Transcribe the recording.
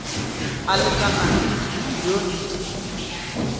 a lekanang le dimilione di